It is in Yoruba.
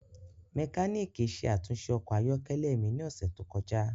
Mekaniki ṣe atunṣe ọkọ ayọkẹlẹ mi ni ọsẹ to kọja.